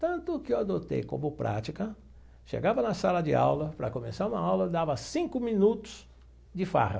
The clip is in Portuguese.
Tanto que eu adotei como prática, chegava na sala de aula, para começar uma aula, dava cinco minutos de farra.